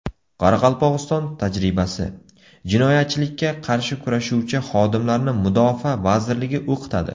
Qoraqalpog‘iston tajribasi: Jinoyatchilikka qarshi kurashuvchi xodimlarni Mudofaa vazirligi o‘qitadi.